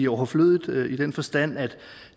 overflødigt i den forstand at